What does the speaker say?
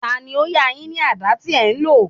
Tani ó yá a yín ní àdá tí ẹ lò?